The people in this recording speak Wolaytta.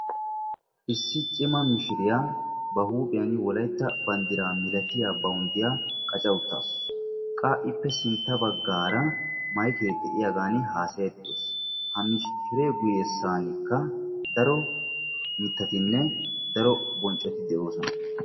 issi cima mishiriya ba huuphiyan wolaytta banddiraa malatiya bawunddiya qaca uttaasu. qa iippe sintta baggaara mayike de'iyagan haasayayidda dawusu ha mishiree guyyessaanikka daro mittatinne daro bonccoti de'oosona.